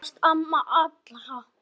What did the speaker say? Þú varst amma allra.